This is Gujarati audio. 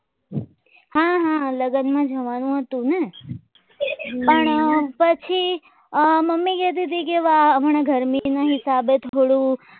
હા હા લગનમાં જવાનું હતું પણ પછી મમ્મી કહેતી હતી કે હમણાં ઘર ગરમી ના હિસાબે થોડું